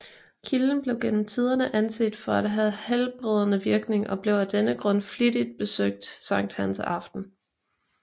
Kilden blev gennem tiderne anset for at have helbredende virkning og blev af denne grund flittigt besøgt Sankt Hans aften